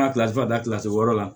N ka kila ka taa kilasi wɔɔrɔ la